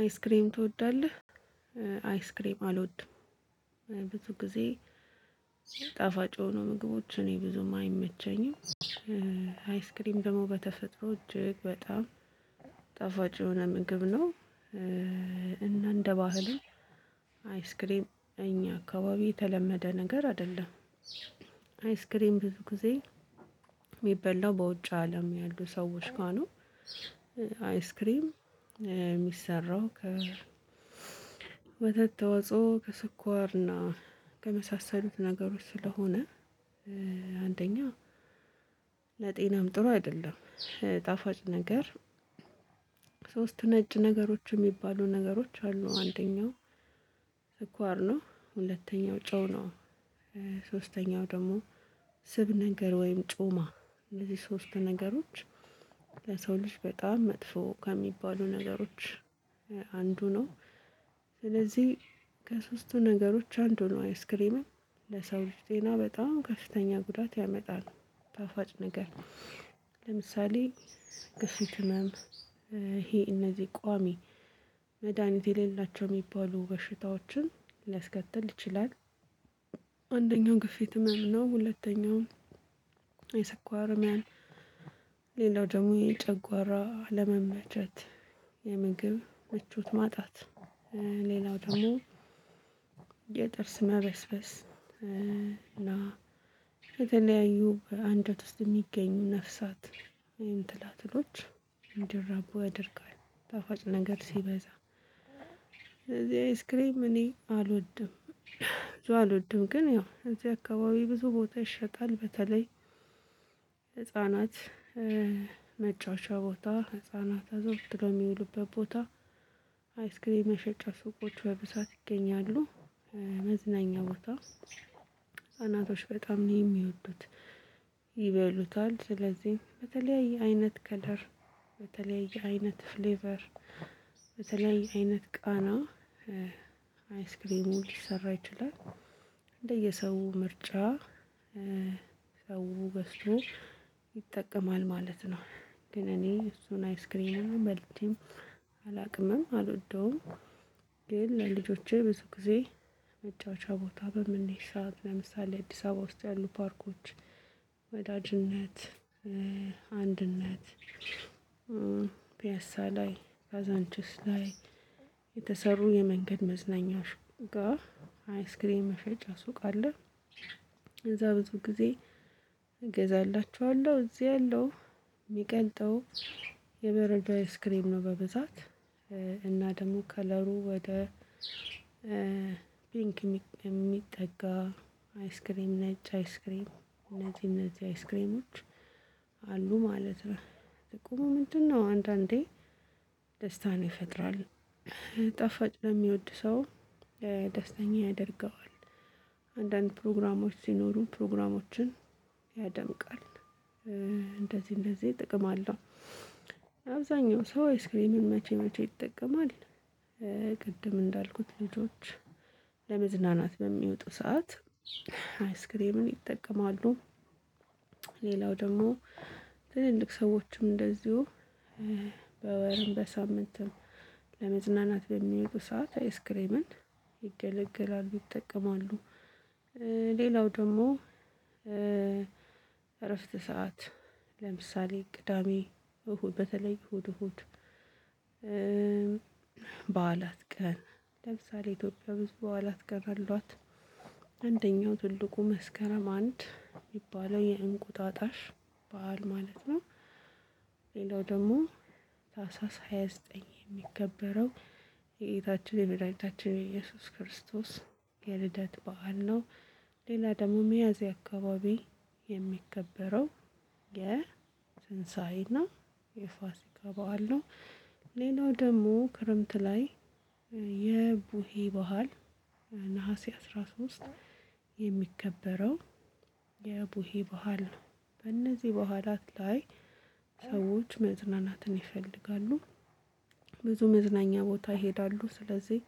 አይስክሬም ትወዳለህ አይስክሬም አልወድም። ብዙ ጊዜ ጣፋጭ የሆኑ ምግቦችን እኔ ብዙም አይመቸኝም። አይስክሬም ደግሞ በተፈጥሮ እጅግ በጣም ጣፋጭ የሆነ ምግብ ነው። እና እንደ ባህልም አይስክሬም እኛ አካባቢ የተለመደ ነገር አይደለም። አይስክሬም ብዙ ጊዜ እሚበላው በውጭው አለም ያሉ ሰዎች ጋር ነው። አይስክሬም እሚሰራው ከወተት ተዋጽኦ ከ ስኳር እና ከመሳሰሉት ነገሮች ስለሆነ። አንደኛ ለጤናም ጥሩ አይደለም። ጣፋጭ ነገር ሶስት ነጭ ነገሮች የሚባሉ ነገሮች አሉ። አንደኛው ስኳር ነው። ሁለተኛው ጨው ነው። ሶስተኛው ደግሞ ስብ ነገር ወይም ጮማ እንደዚህ ሶስት ነገሮች ለሰው ልጅ በጣም መጥፎ ከሚባሉ ነገሮች አንዱ ነው። ስለዚህ ከሶስቱ ነገሮች አንዱ ነው አይስክሬምም ለሰዎች ጤና በጣም ከፍተኛ ጉዳት ያመጣል። ጣፋጭ ነገር ለምሳሌ ግፊት ህመም ይሄ እነዚህ ቋሚ መድሃኒት የሌላቸው የሚባሉ በሽታዎችን ሊያስከትል ይችላል። አንደኛው ግፊት ህመም ነው ሁለተኛው የስኳር ህመም። ሌላው ደግሞ የጨጓራ ኣለመመቸት የምግብ ምቾት ማጣት። ሌላው ደግሞ የጥርስ መበስበስ እና የተለያዩ በአንጀት ውስጥ የሚገኙ ነፍሳት ወይም ትላትሎች እንዲራቡ ያደርጋል። ጣፋጭ ነገር ሲበዛ ስለዚህ አይስክሬም እኔ አልወድም። ብዙ አልወድም ግን ያው እዚህ አካባቢ ብዙ ቦታ ይሸጣል። በተለይ ህፃናት መጫቻ ቦታ ህፃናት አዘውትሮው የሚውሉበት ቦታ አይስክሪንም መሸጫ ሱቆች በብዛት ይገኛሉ። መዝናኛ ቦታ ህፃናቶች በጣም ነው የሚወዱት። ይበሉታል ስለዚህ በተለያየ አይነት ከለር በተለይ አይነት ፍሌቨር በተለይ አይነት ቃና አይስክሪሙ ሊሰራ ይችላል። እንደየሰው ምርጫ ሰው በሱ ይጠቀማል ማለት ነው። ግን እኔ እሱን አይስክሬም በልቼም አላውቅምም አልወደውም። ግን ለልጆቼ ብዙ ጊዜ መጫወቻ ቦታ በምንሄድ ሰዓት ለምሳሌ አዲስ አበባ ውስጥ ያሉ ፓርኮች ወዳጅነት አንድነት ፒያሳ ላይ ካዛንችስ ላይ የተሰሩ የመንገድ መዝናኛዎች ጋር አይስክሬም መሸጫ ሱቅ አለ። እዛ ብዙ ጊዜ እገዛላችኋለሁ እዚህ ያለው የሚቀልጠው የበረዶ አይስክሬም ነው። በብዛት እና ደግሞ ከለሩ ወደ ፒንክ የሚጠጋ አይስክሬም ነጭ አይስክሬም እነዚህ እነዚህ አይስክሬሞች አሉ ማለት ነው። ጥቁሙ ምንድነው? አንዳንዴ ደስታን ይፈጥራል። ጣፋጭ ለሚወድ ሰው ደስተኛ ያደርገዋል። አንዳንድ ፕሮግራሞች ሲኖሩ ፕሮግራሞችን ያደምቃል እንደዚህ እንደዚህ ጥቅም አለው። አብዛኛው ሰው ኤስክሬምን መቼ መቼ ይጠቀማል? ቅድም እንዳልኩት ልጆች ለመዝናናት በሚወጡ ሰዓት አይስክሬምን ይጠቀማሉ። ሌላው ደግሞ ትልልቅ ሰዎችም እንደዚሁ በወርም በሳምንት ለመዝናናት በሚወጡ ሰዓት አይስክሬምን ይገለገላሉ ይጠቀማሉ። ሌላው ደግሞ እረፍት ሰዓት ለምሳሌ ቅዳሜ እሁድ በተለይ እሁድ እሁድ በዓላት ቀን ለምሳሌ ኢትዮጵያ ብዙ በዓላት ቀን አሏት። አንደኛው ትልቁ መስከረም አንድ የሚባለው የእንቁጣጣሽ በዓል ማለት ነው። ሌላው ደግሞ ታህሳስ ሃያ ዘጠኝ የሚከበረው የጌታችን የመድኃኒታችን የኢየሱስ የልደት በዓል ነው። ሌላ ደግሞ ሚያዝያ አካባቢ የሚከበረው የትንኤና የፋሲካ በዓል ነው። ሌላው ደግሞ ክረምት ላይ የቡሄ በዓል ነሀሴ አስራ ሶስት የሚከበረው የቡሂ በኋላ ነው። በእነዚህ በዓላት ላይ ሰዎች መዝናናትን ይፈልጋሉ። ብዙ መዝናኛ ቦታ ይሄዳሉ ስለዚህ